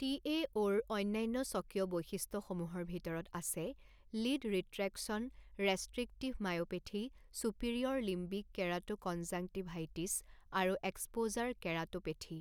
টিএঅ'ৰ অন্যান্য স্বকীয় বৈশিষ্ট্যসমূহৰ ভিতৰত আছে lid retraction, restrictive myopathy, superior limbic keratoconjunctivitis আৰু এক্সপ'জাৰ কেৰাট'পেথী।